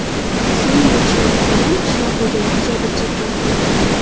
Suvning yetishmasligidan qishloq xo‘jaligi jabr chekmoqda.